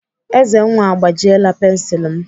Ezenwa agbajiela pensilu m.